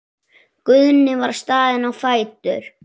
Guðni var staðinn á fætur.